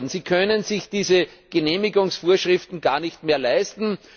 Sie können sich diese Genehmigungsvorschriften gar nicht mehr leisten.